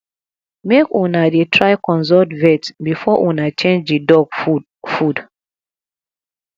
make una dey try consult vet before una change di dog food food